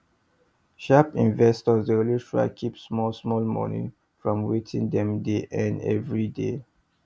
sharp investors dey always try keep small small money from wetin dem dey earn every day